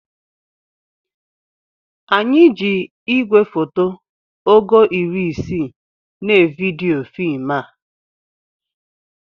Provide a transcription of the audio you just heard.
Anyị ji igwefoto ogo iri isii na evidiyo fim a